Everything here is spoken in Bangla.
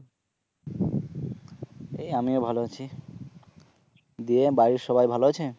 এই আমিও ভাল আছি দিয়ে বাড়ির সবাই ভালো আছে?